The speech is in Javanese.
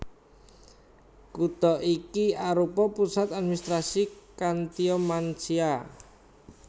Kutha iki arupa pusat administrasi Khantia Mansia